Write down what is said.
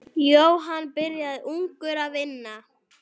Jóhann byrjaði ungur að vinna.